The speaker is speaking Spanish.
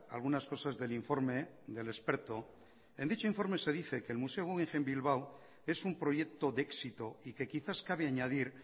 algunas cosas del informa del experto en dicho informe se dice que el museo guggenheim bilbao es un proyecto de éxito y que quizás cabe añadir